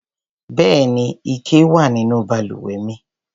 Bẹ́ẹ̀ni, ike wà nínú balùwẹ̀ mi.